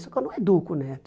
Só que eu não educo o neto.